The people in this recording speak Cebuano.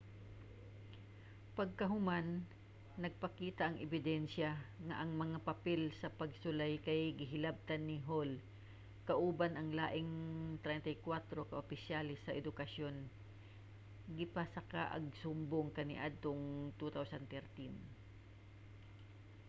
pagkahuman nagpakita ang ebidensya nga ang mga papel sa pagsulay kay gihilabtan ni hall kauban ang laing 34 ka opisyales sa edukasyon gipasakaag sumbong kaniadtong 2013